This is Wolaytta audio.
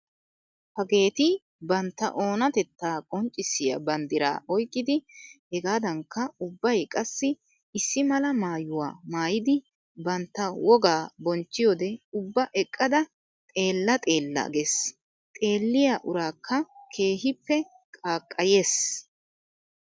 Hageeti bantta oonatettaa qonccissiya banddira oyqqidi hegaadankka ubbay qassi issi mala maayyuwaa maayyidi bantta wogaa bonchchiyode ubba eqqada xeella xeella gees. Xeelliya uraakka keehippe qaaqqayees.